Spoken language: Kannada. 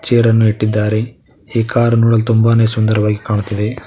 ಚೇರ್ ಅನ್ನು ಇಟ್ಟಿದ್ದಾರೆ ಈ ಕಾರ್ ನೋಡಲು ತುಂಬಾನೇ ಸುಂದರವಾಗಿ ಕಾಣುತ್ತಿದೆ.